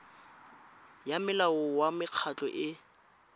ya molao wa mekgatlho e